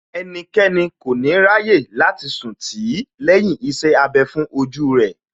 Ẹnikẹ́ni kò ní ráyè láti sùn tì í lẹ́yìn iṣẹ́ abẹ fún ojú rẹ̀